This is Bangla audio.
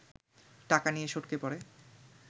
টাকা নিয়ে সটকে পড়ে